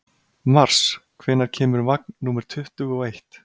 Mars, hvenær kemur vagn númer tuttugu og eitt?